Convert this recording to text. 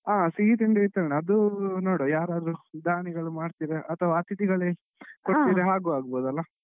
ಹಾ ಸಿಹಿ ತಿಂಡಿ ವಿತರಣೆ ಅದು ನೋಡುವ ಯಾರಾದ್ರೂ ದಾನಿಗಳು ಮಾಡ್ತಾರಾ ಅಥವಾ ಅತಿಥಿಗಳೇ ಹಾಗೂ ಆಗಬೋದಲ್ಲ.